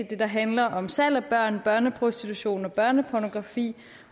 det der handler om salg af børn børneprostitution og børnepornografi